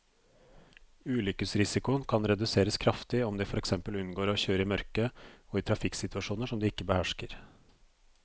Ulykkesrisikoen kan reduseres kraftig om de for eksempel unngår å kjøre i mørket og i trafikksituasjoner som de ikke behersker.